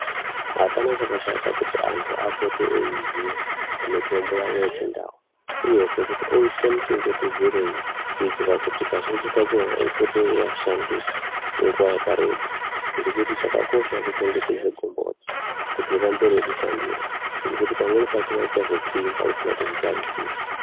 Apana chakashata kuti antu apote eiziye mitombo yavo yechindau uyezve kuti oite muchengetedzerei kuitira kuti kazhinji kachona ipote yeiashandira nguva yakareba. Ngekuti chakakosha kuchengetedze gomboti kuti rirambe reivashandira ngekuti pamweni pacho richazotsinza usina kuzvitarisira.